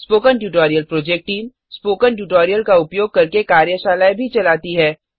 spoken tutorial project team spoken tutorial का उपयोग करके कार्यशालाएँ भी चलाती है